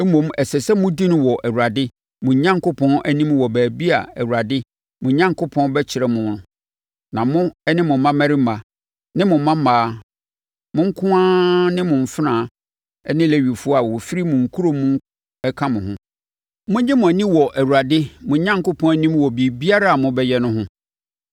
Mmom, ɛsɛ sɛ modi no wɔ Awurade, mo Onyankopɔn, anim wɔ baabi a Awurade, mo Onyankopɔn, bɛkyerɛ mo no a mo, mo mmammarima ne mo mmammaa mo nkoa ne mo mfenaa ne Lewifoɔ a wɔfiri mo nkuro mu ka mo ho. Monnye mo ani wɔ Awurade, mo Onyankopɔn anim wɔ biribiara a mobɛyɛ no ho.